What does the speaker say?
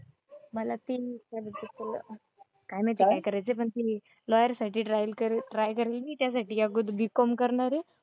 मला तीन काय माहिती काय करायचंय पण ते लॉयर साठी ट्राय करेल मी त्यासाठी या B. Com करणारे.